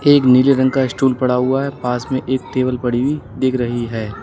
एक नीले रंग का स्टूल पड़ा हुआ है पास में एक टेबल पड़ी हुई दिख रही है।